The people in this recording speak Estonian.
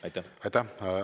Aitäh!